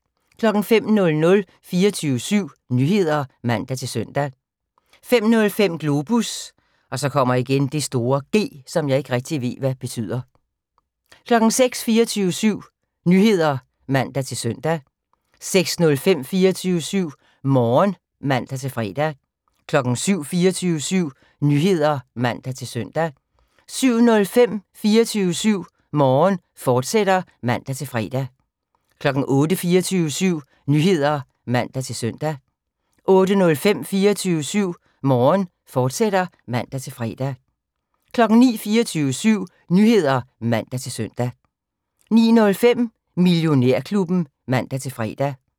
05:00: 24syv Nyheder (man-søn) 05:05: Globus (G) 06:00: 24syv Nyheder (man-søn) 06:05: 24syv Morgen (man-fre) 07:00: 24syv Nyheder (man-søn) 07:05: 24syv Morgen, fortsat (man-fre) 08:00: 24syv Nyheder (man-søn) 08:05: 24syv Morgen, fortsat (man-fre) 09:00: 24syv Nyheder (man-søn) 09:05: Millionærklubben (man-fre)